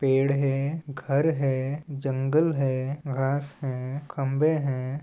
पेड़ है घर है जंगल है घास है खंबे है।